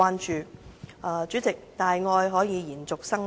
代理主席，大愛可以延續生命。